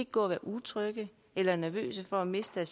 gå og være utrygge eller nervøse for at miste